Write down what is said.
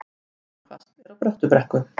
Mjög hvasst er á Bröttubrekku